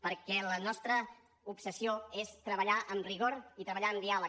perquè la nostra obsessió és treballar amb rigor i treballar amb diàleg